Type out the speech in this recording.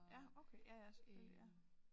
Ja okay ja ja selvfølgelig ja